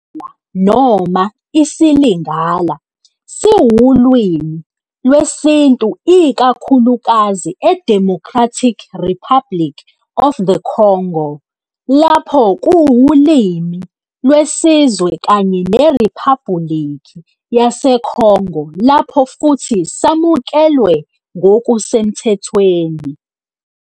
Noma isiLingala siwulimi lwesiNtu ikakhulukazi eDemocratic Republic of the Congo lapho kuwulimi lwesizwe kanye neRiphabhulikhi yaseCongo lapho futhi samukelwe ngokusemthethweni.